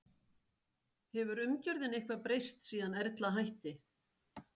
Hefur umgjörðin eitthvað breyst síðan Erla hætti?